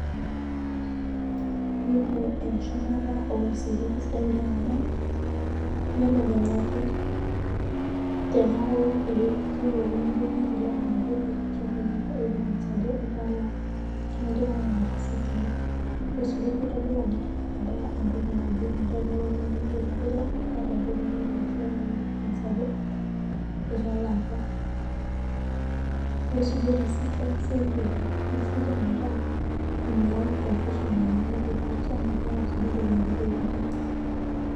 Iyiolo echumata orisiti kesidai oleng amu iyiolo kenya ake teneaku ekijokini itulak inatoki iyata evidence ajo italaa keaku itipika ina risit ino kitodolu ajo indipa atalaa najibmetaa eneponunui nai neji itulak iyata entoki nindim ataau ana evidence ajo italaa apa yiolosi erist na ekisaidia Oleng ekisaidia metaa meyau entoki naji confusion te future nemeyau evidence